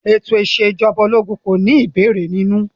Ètò ìṣèjọba ológun kò ní ìbéèrè nínú.